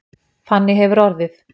Þannig hefur orðið